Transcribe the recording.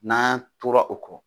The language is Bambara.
N'an tora kɔ